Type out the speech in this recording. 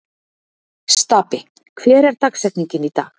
Stapi, hver er dagsetningin í dag?